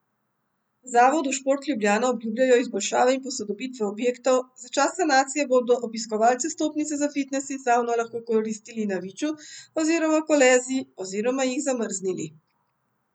V zavodu Šport Ljubljana obljubljajo izboljšave in posodobitve objektov, za čas sanacije bodo obiskovalci vstopnice za fitnes in savno lahko koristili na Viču oziroma Koleziji oziroma jih zamrznili.